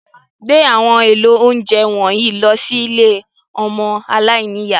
Gbé àwọn èlò oúnjẹ wọ̀nyí lọ sí ilé àwọn ọmọ aláìní ìyá.